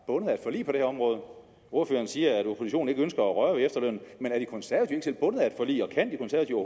bundet af et forlig på det område ordføreren siger at oppositionen ikke ønsker at røre ved efterlønnen men er de konservative ikke selv bundet af et forlig og kan de konservative